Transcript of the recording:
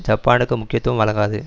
ஜப்பானுக்கு முக்கியத்துவம் வழங்காது